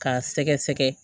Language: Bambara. K'a sɛgɛsɛgɛ